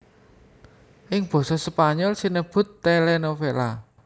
Ing basa Spanyol sinebut télénovela